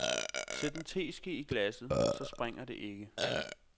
Sæt en teske i glasset, så sprænger det ikke.